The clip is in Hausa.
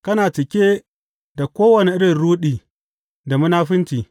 Kana cike da kowane irin ruɗi da munafunci.